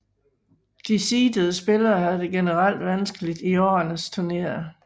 De seedede spillere havde det generelt vanskeligt i årets turnering